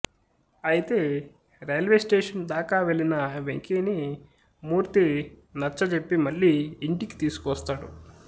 అయితే railway station దాకా వెళ్ళిన వెంకీని మూర్తి నచ్చజెప్పి మళ్ళీ ఇంటికి తీసుకుని వస్తాడు